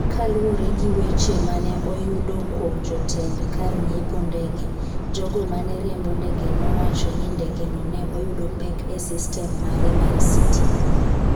Kaluwore gi weche ma ne oyudo kuom jotend kar ng’iepo ndege, jogo ma ne riembo ndege nowacho ni ndegeno ne oyudo pek e sistem mare mar stima.